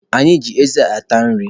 Anyị ji eze ata nri.